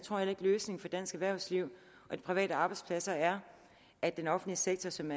løsningen for dansk erhvervsliv og de private arbejdspladser er at den offentlige sektor som